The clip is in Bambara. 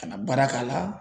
Ka na baara k'a la.